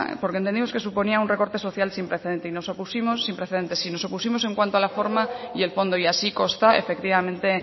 porque entendíamos que suponía un recorte social sin precedente y nos opusimos en cuanto a la forma y el fondo y así consta efectivamente